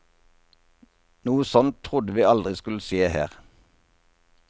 Noe sånt trodde vi aldri skulle skje her.